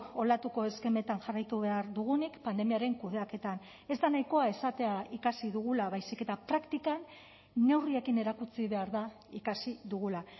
olatuko eskemetan jarraitu behar dugunik pandemiaren kudeaketan ez da nahikoa esatea ikasi dugula baizik eta praktikan neurriekin erakutsi behar da ikasi dugula